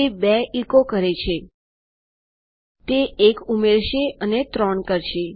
તે ૨ એચો કરે છે તે એક ઉમેરશે અને ૩ કરશે